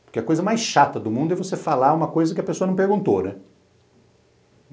Porque a coisa mais chata do mundo é você falar uma coisa que a pessoa não perguntou, né?